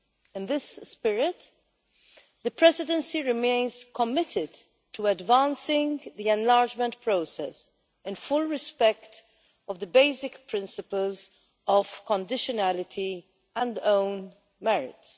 In this spirit the Presidency remains committed to advancing the enlargement process in full respect of the basic principles of conditionality and own merits.